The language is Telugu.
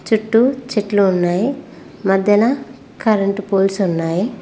చుట్టూ చెట్లు ఉన్నాయి మధ్యన కరెంటు పోల్స్ ఉన్నాయి.